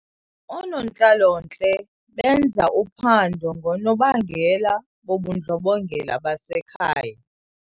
Oonontlalontle benza uphando ngoonobangela bobundlobongela basekhaya.